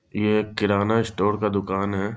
ये एक किराना स्टोर का दुकान है।